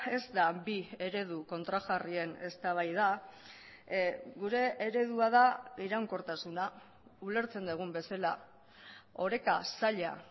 ez da bi eredu kontrajarrien eztabaida gure eredua da iraunkortasuna ulertzen dugun bezala oreka zaila